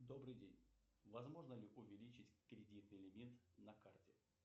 добрый день возможно ли увеличить кредитный лимит на карте